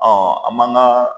an m'an ka